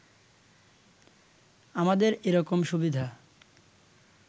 আমাদের এরকম সুবিধা